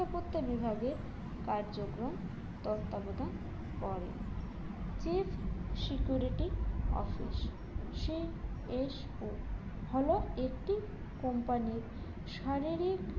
নিরাপত্তা বিভাগের কার্যক্রম তত্ত্বাবধান করেন chief security office CSO হল একটি company র শারীরিক